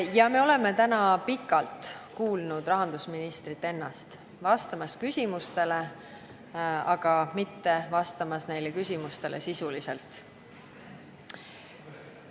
Ja me oleme täna pikalt kuulnud rahandusministrit ennast vastamas küsimustele, aga mitte vastamas neile sisuliselt.